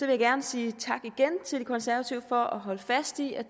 jeg gerne sige tak igen til de konservative for at holde fast i at